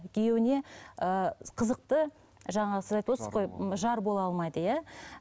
күйеуіне ыыы қызықты жаңа сіз айтывотсыз ғой жар бола алмайды иә